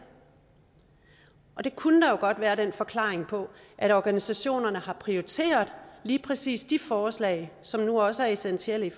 det kunne der jo godt være den forklaring på at organisationerne har prioriteret lige præcis de forslag som nu også er essentielle i